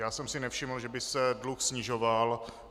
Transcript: Já jsem si nevšiml, že by se dluh snižoval.